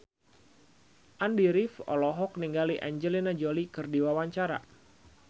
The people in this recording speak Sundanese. Andy rif olohok ningali Angelina Jolie keur diwawancara